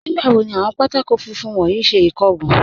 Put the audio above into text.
Nígbàwò ni awọn pátákọ̀ fúnfún wọn yí ṣẹ ikógun?